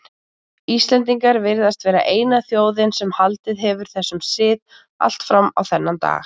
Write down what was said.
Íslendingar virðast vera eina þjóðin sem haldið hefur þessum sið allt fram á þennan dag.